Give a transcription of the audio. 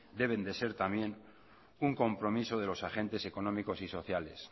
deben de ser también un compromiso de los agentes económicos y sociales